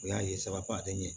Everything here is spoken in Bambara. U y'a ye sababa tɛ ɲɛ